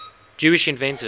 jewish inventors